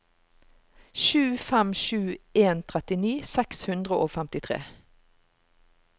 sju fem sju en trettini seks hundre og femtitre